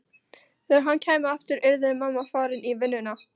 Þegar hann kæmi aftur yrði mamma farin í vinnuna.